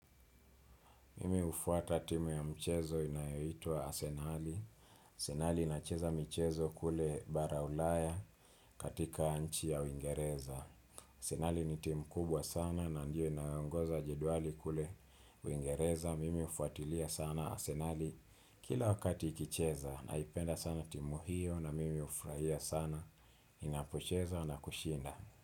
Mimi hufuata timu ya mchezo inayoitwa arsenali. Arsenali inacheza mchezo kule bara ulaya katika anchi ya uingereza. Asenali ni timu kubwa sana na ndio inayongoza jedwali kule uingereza. Mimi hufuatilia sana asenali kila wakati ikicheza. Naipenda sana timu hiyo na mimi hufurahia sana inapocheza na kushinda.